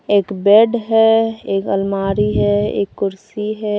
एक बेड है एक अलमारी है एक कुर्सी है।